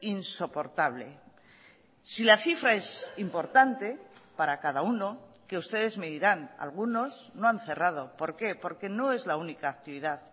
insoportable si la cifra es importante para cada uno que ustedes me dirán algunos no han cerrado por qué porque no es la única actividad